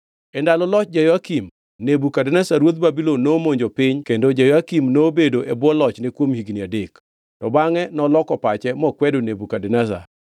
E ndalo loch Jehoyakim, Nebukadneza ruodh Babulon nomonjo piny kendo Jehoyakim nobedo e bwo lochne kuom higni adek. To bangʼe noloko pache mokwedo Nebukadneza.